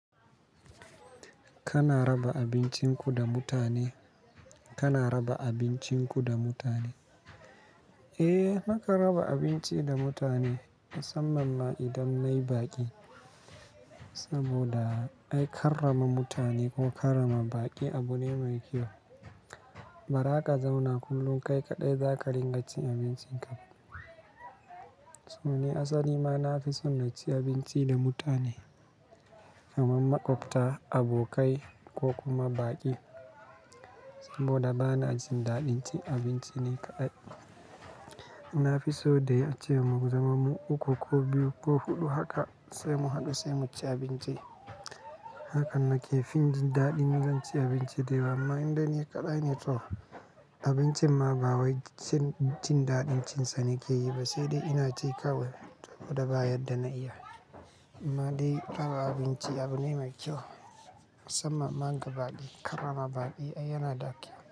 Kana raba abincin ku da mutane? Kana raba abincin ku da mutane? Eh, na kan raba abinci da mutane musamman ma idan nayi baƙi. Saboda ai karrama mutane ko karrama baƙi abu ne mai kyau. Bara ka zauna kullum kai kaɗai, za ka ringa cin abincinka. To ni asali ma na fi son na ci abinci da mutane kamar maƙwabta, abokai ko kuma baƙi. Saboda bana jin daɗin cin abinci ni kaɗai. Na fi so dai a ce mun zama mu uku ko biyu ko huɗu haka sai mu haɗu sai mu ci abinci. Hakan na ke fin jin daɗin in zan ci abinci dai yawa, amma in dai ni kaɗai ne to abincin ma ba wai jin daɗin cin sa ne ke yi ba sai dai ina ci kawai saboda ba yadda na iya. Amma dai raba abinci abu ne mai kyau musamman ma ga baƙi. Karrama baƙi ai yana da kyau.